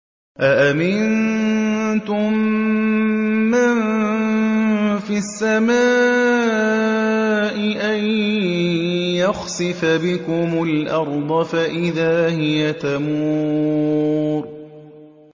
أَأَمِنتُم مَّن فِي السَّمَاءِ أَن يَخْسِفَ بِكُمُ الْأَرْضَ فَإِذَا هِيَ تَمُورُ